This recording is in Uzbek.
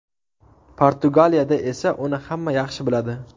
Portugaliyada esa uni hamma yaxshi biladi.